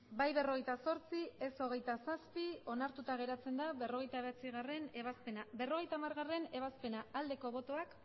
bai berrogeita zortzi ez hogeita zazpi onartuta geratzen da berrogeita bederatzigarrena ebazpena berrogeita hamargarrena ebazpena aldeko botoak